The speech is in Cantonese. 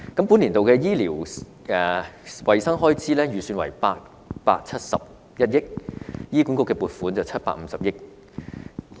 本年度的醫療衞生開支預算為871億元，醫管局的撥款為750億元。